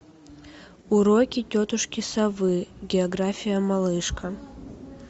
уроки тетушки совы география малышка